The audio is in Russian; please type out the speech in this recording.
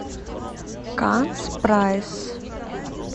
канц прайс